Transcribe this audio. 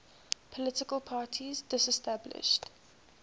political parties disestablished